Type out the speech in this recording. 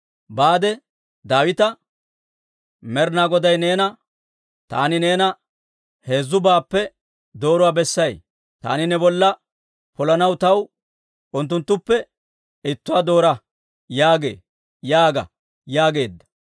«Baade; Daawita, ‹Med'inaa Goday neena, «Taani neena heezzubaappe dooruwaa bessay; taani ne bolla polanaw taw unttuttuppe ittuwaa doora» yaagee› yaaga» yaageedda.